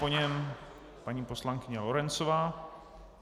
Po něm paní poslankyně Lorencová.